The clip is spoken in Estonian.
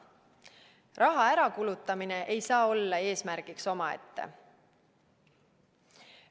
Raha ärakulutamine ei saa olla eesmärk omaette.